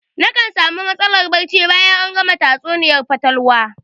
Nakan sami matsalar barci bayan an gama tatsuniyar fatalwa